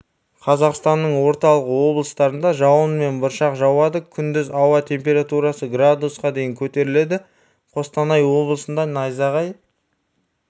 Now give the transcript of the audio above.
қазақстанның орталық облыстарында жауын мен бұршақ жауады күндіз ауа температурасы градусқа дейін көтеріледі қостанай облысында найзағай